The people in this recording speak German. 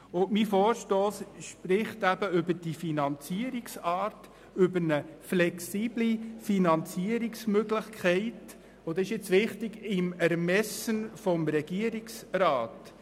Mein Vorstoss spricht über diese Finanzierungsart, über eine flexible Finanzierungsmöglichkeit – und das ist wichtig – im Ermessen des Regierungsrats.